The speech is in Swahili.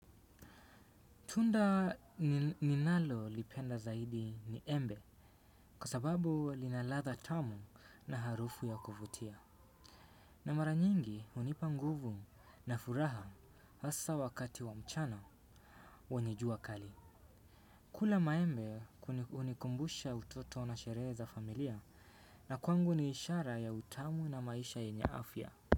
Tunda ninalolipenda zaidi ni embe kwa sababu lina ladha tamu na harufu ya kuvutia. Na mara nyingi hunipa nguvu na furaha hasa wakati wa mchana wenye jua kali. Kula maembe hunikumbusha utoto na sherehe za familia na kwangu ni ishara ya utamu na maisha yenye afya.